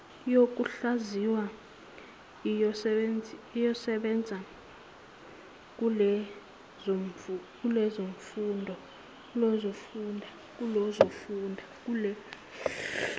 yokuhlaziya iyosebenza kulezofunda